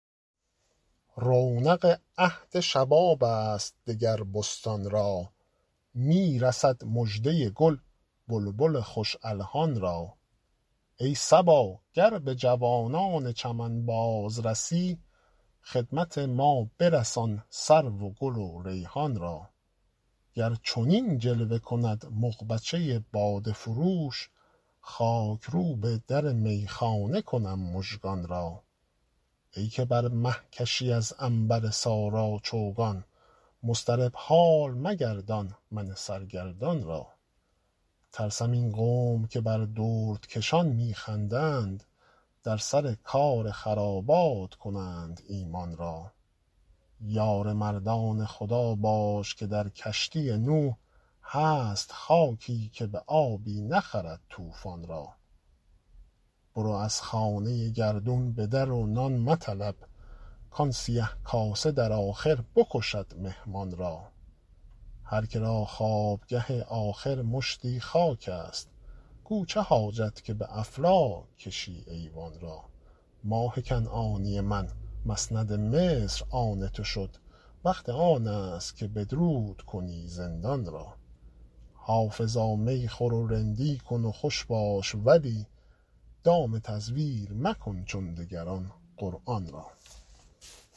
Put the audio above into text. رونق عهد شباب است دگر بستان را می رسد مژده گل بلبل خوش الحان را ای صبا گر به جوانان چمن باز رسی خدمت ما برسان سرو و گل و ریحان را گر چنین جلوه کند مغبچه باده فروش خاک روب در میخانه کنم مژگان را ای که بر مه کشی از عنبر سارا چوگان مضطرب حال مگردان من سرگردان را ترسم این قوم که بر دردکشان می خندند در سر کار خرابات کنند ایمان را یار مردان خدا باش که در کشتی نوح هست خاکی که به آبی نخرد طوفان را برو از خانه گردون به در و نان مطلب کآن سیه کاسه در آخر بکشد مهمان را هر که را خوابگه آخر مشتی خاک است گو چه حاجت که به افلاک کشی ایوان را ماه کنعانی من مسند مصر آن تو شد وقت آن است که بدرود کنی زندان را حافظا می خور و رندی کن و خوش باش ولی دام تزویر مکن چون دگران قرآن را